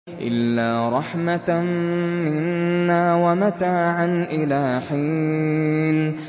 إِلَّا رَحْمَةً مِّنَّا وَمَتَاعًا إِلَىٰ حِينٍ